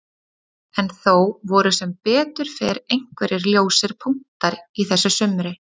En þó voru sem betur fer einhverjir ljósir punktar í þessu sumri.